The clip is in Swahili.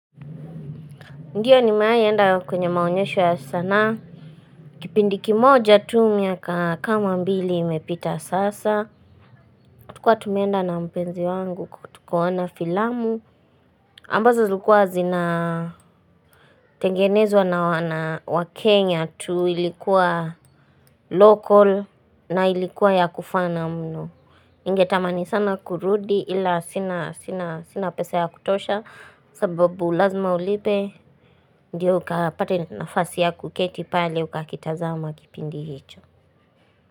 Ndiyo ni mewahienda kwenye maonyesho ya sanaa. Kipindiki kimoja tu miaka kama mbili imepita sasa. Tulikuwa tumenda na mpenzi wangu tukoona filamu. Ambazo zilikuwa zina tengenezwa na wakenya tu ilikuwa local na ilikuwa ya kufana mnu. niNgetamani sana kurudi ila sina pesa ya kutosha. Sababu lazima ulibe ndio ukapate nafasi ya kuketi pale ukakitazao makipindi hicho.